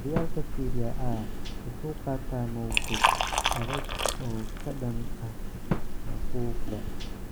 Horyaalka Serie A wuxuu qaataa mowqif adag oo ka dhan ah faquuqda.